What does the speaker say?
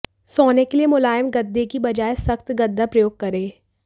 सोने के लिए मुलायम गद्दे की बजाय सख्त गद्दा प्रयोग करें